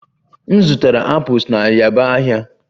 M zụtara apples na yaba ahịa